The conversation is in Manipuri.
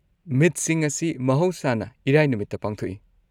ꯃꯤꯠꯁꯤꯡ ꯑꯁꯤ ꯃꯍꯧꯁꯥꯅ ꯏꯔꯥꯏ ꯅꯨꯃꯤꯠꯇ ꯄꯥꯡꯊꯣꯛꯏ꯫